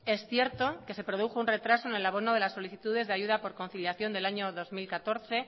es cierto que se produjo un retraso en el abono de las solicitudes de ayuda por conciliación del año dos mil catorce